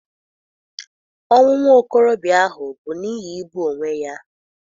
Ọnwụ nwa okorobịa ahụ bụ n'ihi igbu onwe ya.